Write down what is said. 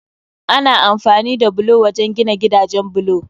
Ana amfani da bulo wajen gina gidajen bulo